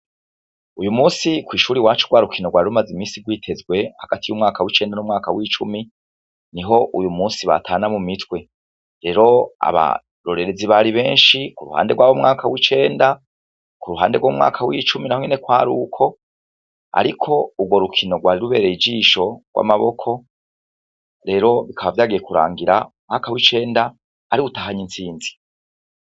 Uyu munsi, kw'ishuri iwacu, rwa rukino rwari rumaze iminsi rwitezwe hagati y'umwaka w'icenda n'umwaka w'icumi, ni ho uyu munsi batana mu mitwe, rero abarorerezi bari benshi k'uruhande rw'abo mwaka w'icenda, k'uruhande rw'umwaka w'icumi naho nyene kwari uko, ariko urwo rukino rwari rubereye ijisho, urw'amaboko, rero bikaba vyagiye kurangira umwaka w'icenda ariwo utahanye intsinzi.